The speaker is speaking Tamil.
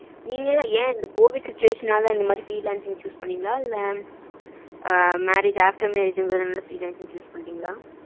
நீங்க ஏன் இந்த கோவிட் situation னால இந்த மாதிரி freelance choose பண்ணிங்களா இல்ல marriage after marriage ங்குறதுனால freelance choose பண்ணிட்டிங்களா?